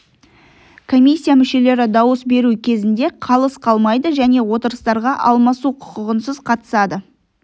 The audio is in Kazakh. комиссия мүшелері дауыс беру кезінде қалыс қалмайды және отырыстарға алмасу құқығынсыз қатысады